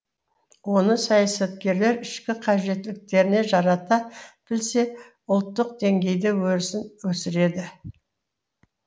оны саясаткерлер ішкі қажеттіліктеріне жарата білсе ұлттық деңгейде өресін өсіреді